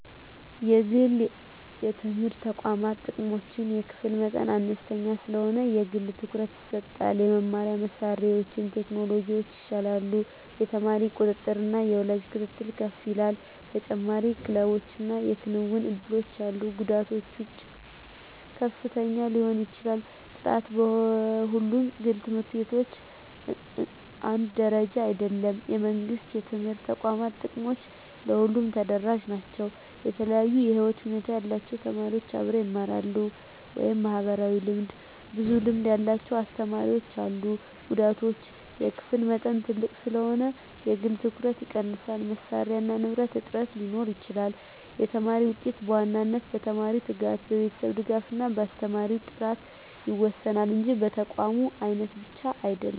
1) የግል የትምህርት ተቋማት ጥቅሞች የክፍል መጠን አነስተኛ ስለሆነ የግል ትኩረት ይሰጣል የመማሪያ መሳሪያዎችና ቴክኖሎጂ ይሻላሉ የተማሪ ቁጥጥርና የወላጅ ክትትል ከፍ ይላል ተጨማሪ ክለቦችና የክንውን እድሎች አሉ ጉዳቶች ወጪ ከፍተኛ ሊሆን ይችላል ጥራት በሁሉም ግል ት/ቤቶች አንድ ደረጃ አይደለም የመንግሥት የትምህርት ተቋማት ጥቅሞች ለሁሉም ተደራሽ ናቸው የተለያዩ የህይወት ሁኔታ ያላቸው ተማሪዎች አብረው ይማራሉ (ማህበራዊ ልምድ) ብዙ ልምድ ያላቸው አስተማሪዎች አሉ ጉዳቶች የክፍል መጠን ትልቅ ስለሆነ የግል ትኩረት ይቀንሳል መሳሪያና ንብረት እጥረት ሊኖር ይችላል የተማሪ ውጤት በዋናነት በተማሪው ትጋት፣ በቤተሰብ ድጋፍ እና በአስተማሪ ጥራት ይወሰናል እንጂ በተቋም አይነት ብቻ አይደለም።